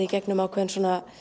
í gegnum ákveðin